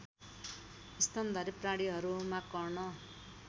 स्तनधारी प्राणीहरूमा कर्ण